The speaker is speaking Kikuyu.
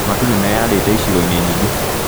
Matu nĩmeyarĩte icigo-inĩ nyingĩ